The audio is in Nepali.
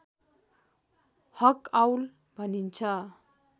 हकआउल भनिन्छ